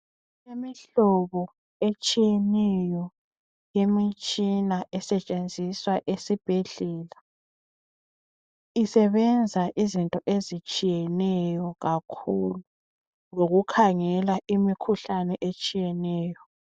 Imihlobo etshiyeneyo yemtshina esetshenziswa esibhendlela. Isebenzi izinto ezitshiyeneyo kakhulu lokukhangela imikhuhlane etshiyeneyo.